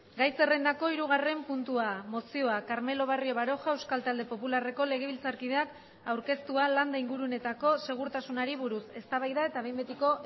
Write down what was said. gai zerrendako hirugarren puntua mozioa carmelo barrio baroja euskal talde popularreko legebiltzarkideak aurkeztua landa inguruneetako segurtasunari buruz eztabaida eta behin betiko